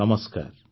ନମସ୍କାର